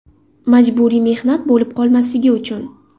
Majburiy mehnat bo‘lib qolmasligi uchun.